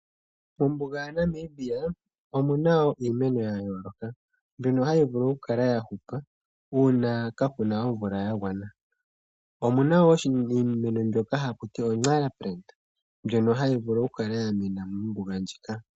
Mombuga yaNamibia omuna wo iimeno ya yooloka mbino hayi vulu oku kala ya hupa uuna kaa kuna omvula ya gwana. omuna wo oshimeno shono haku tiwa oNxara plant ndjono hayi vulu oku kala ya mena mo mombuga muka.